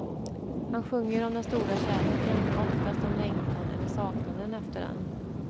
Han sjunger om den stora kärleken, oftast om längtan eller saknaden efter den.